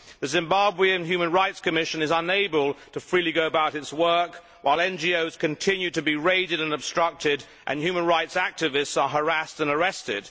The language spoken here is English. The Zimbabwe and Human Rights Commission is unable to freely go about its work, while NGOs continue to be raided and obstructed and human rights activists are harassed and arrested.